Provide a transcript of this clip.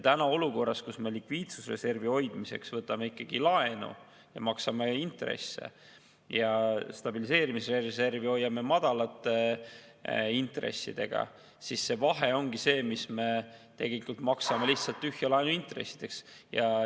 Tänases olukorras, kus me likviidsusreservi hoidmiseks võtame laenu ja maksame intresse ning stabiliseerimisreservi hoiame madalate intressidega, me tegelikult maksame laenuintressideks lihtsalt tühja.